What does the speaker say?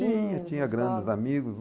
Tinha, tinha grandes amigos.